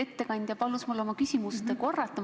Ettekandja palus mul oma küsimust korrata.